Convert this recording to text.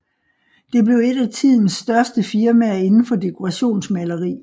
Det blev et af tidens største firmaer inden for dekorationsmaleri